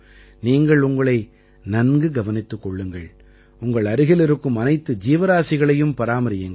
நீங்கள் உங்களை நன்கு கவனித்துக் கொள்ளுங்கள் உங்கள் அருகில் இருக்கும் அனைத்து ஜீவராசிகளையும் பராமரியுங்கள்